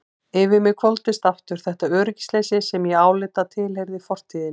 Yfir mig hvolfdist aftur þetta öryggisleysi sem ég áleit að tilheyrði fortíðinni.